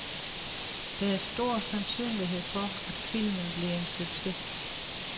Der er stor sandsynlighed for, at filmen bliver en succes.